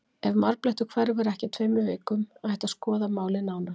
Ef marblettur hverfur ekki á tveimur vikum ætti að skoða málið nánar.